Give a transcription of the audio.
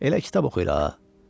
Elə kitab oxuyur ha.